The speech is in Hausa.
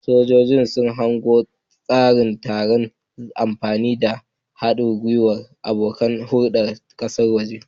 Sojoji sun hango aiwatar da tsarin sa ido na zamani tare da haɗin gwiwar abokan hulɗar ƙasashen waje.